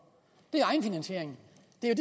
det er